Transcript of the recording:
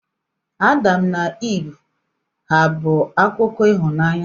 Adam na Iv hà bụ akụkọ ịhụnanya?